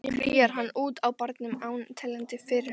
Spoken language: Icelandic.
Kríar hann út á barnum án teljandi fyrirhafnar.